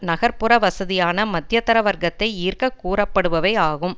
நகர் புற வசதியான மத்தியர வர்க்கத்தை ஈர்க்க கூறப்படுபவை ஆகும்